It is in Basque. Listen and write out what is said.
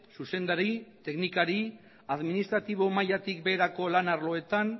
zuzendari teknikari administratibo mailatik beherako lan arloetan